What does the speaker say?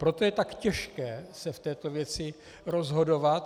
Proto je tak těžké se v této věci rozhodovat.